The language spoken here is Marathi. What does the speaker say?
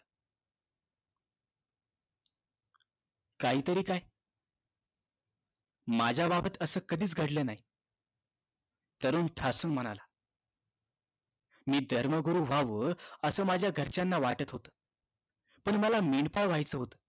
काही तरी काय माझ्या बाबतीत असं कधीच घडलं नाही तरुण ठासून म्हणाला मी धर्मगुरू व्हावं असं माझ्या घरच्यांना वाटत होत पण मला मेंढपाळ व्हायच होत